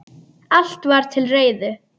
Allt var til reiðu.